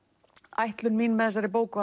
ætlun mín með þessari bók